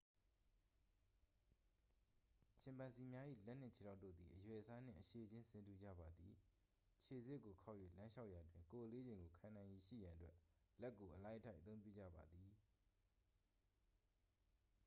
ချင်ပန်ဇီများ၏ လက်နှင့်ခြေထောက်တို့သည် အရွယ်အစားနှင့် အရှည်ခြင်း ဆင်တူကြပါသည် ခြေဆစ်ကိုခေါက်၍လမ်းလျှောက်ရာတွင် ကိုယ်အလေးချိန်ကိုခံနိုင်ရည်ရှိရန်အတွက် လက်ကို အလိုက်အထိုက်အသုံးပြုကြပါသည်